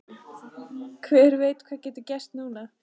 Hver veit hvað getur gerst núna?